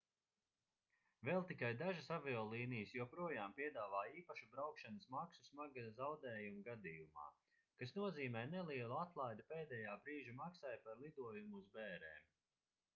vēl tikai dažas aviolīnijas joprojām piedāvā īpašu braukšanas maksu smaga zaudējuma gadījumā kas nozīmē nelielu atlaidi pēdējā brīža maksai par lidojumu uz bērēm